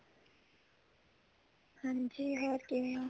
ਹਾਂਜੀ ਹੋਰ ਕਿਵੇਂ ਓ